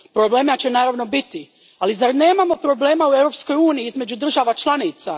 Problema će naravno biti, ali zar nemamo problema u Europskoj uniji između država članica?